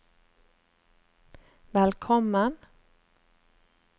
velkommen